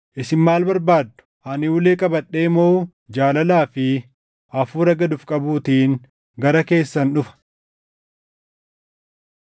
Isin maal barbaaddu? Ani ulee qabadhee moo jaalalaa fi hafuura gad of qabuutiin gara keessan dhufa?